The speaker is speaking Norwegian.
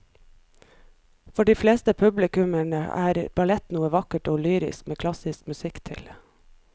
For de fleste publikummere er ballett noe vakkert og lyrisk med klassisk musikk til.